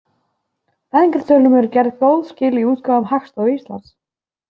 Fæðingartölum eru gerð góð skil í útgáfum Hagstofu Íslands.